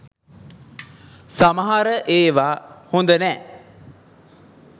සමහර එවා හොඳනෑ